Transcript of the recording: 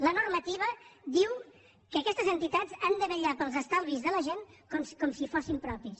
la normativa diu que aquestes entitats han de vetllar pels estalvis de la gent com si fossin propis